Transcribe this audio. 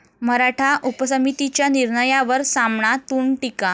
मराठा उपसमितीच्या निर्णयावर 'सामना'तून टीका!